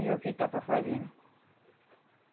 E o que está para fazer, né?